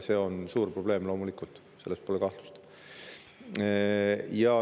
See on suur probleem, loomulikult, selles pole kahtlust.